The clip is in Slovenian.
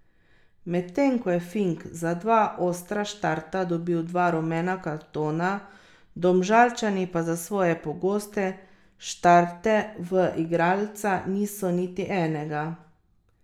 Medtem ko je Fink za dva ostra štarta dobil dva rumena kartona, Domžalčani za svoje pogoste štarte v igralca niso niti enega.